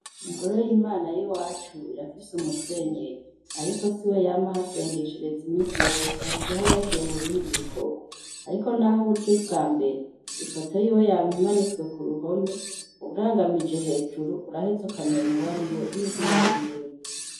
Ingoro y'imana y'iwacu irafise umusenyeri. Ariko si we yama ahasengeshereza iminsi yose, hari igihe aba yagiye mu bindi bikorwa. Ariko n'aho uba uje ubwa mbere, ifoto y'iwe yama imanitswe ku ruhome, urangamije hejuru urahetse ukamenya uwo ar iwe n'izina ry'iwe.